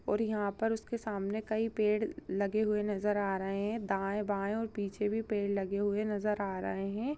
और यहाँ पर उसके सामने कई पेड़ लगे हुए नजर आ रहे हैं दाएं बाएं और पीछे भी पेड़ लगे हुए नजर आ रहे हैं।